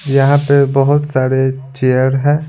यहां पे बहुत सारे चेयर हैं।